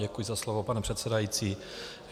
Děkuji za slovo, pane předsedající.